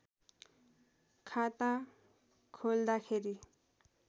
खाता खोल्दाखेरि